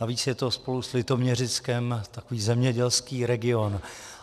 Navíc je to spolu s Litoměřickem takový zemědělský region.